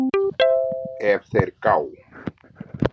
ef þeir gá